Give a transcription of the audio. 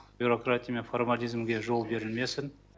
бюрократия мен формализмге жол берілмесін